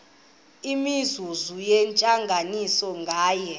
imizuzu yentlanganiso nganye